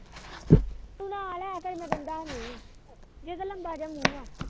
ਭੈਅ ਤਾ ਕਿਸੇ ਨੂੰ ਦਿੰਦਾ ਨੀ ਜਿਹਦਾ ਲੰਬਾ ਜਾ ਮੁੰਹ ਆ